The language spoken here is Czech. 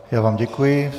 Já vám děkuji.